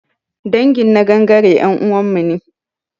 Dangin nagangare ƴan uwanmu ne